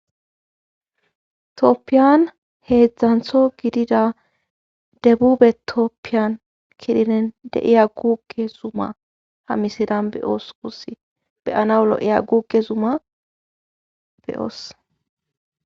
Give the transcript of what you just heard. Tooppiyan heedzdzantho gidida debube tooppiyan kilinen deiya guuke zuuma ha misidan beyoos kusi beyana lo'iya guuke zuma beyoos.